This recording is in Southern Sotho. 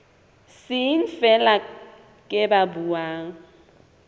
seng feela ke ba buang